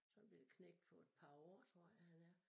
Sådan bette knægt på et par år tror jeg han er